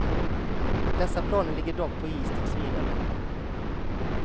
Dessa planer ligger dock på is tills vidare.